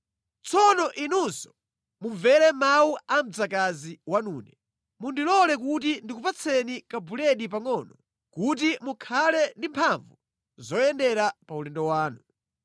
Tsono inunso mumvere mawu a mdzakazi wanune. Mundilole kuti ndikupatseni ka buledi pangʼono kuti mukhale ndi mphamvu zoyendera pa ulendo wanu.”